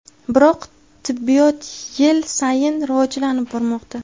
Biroq tibbiyot yil sayin rivojlanib bormoqda.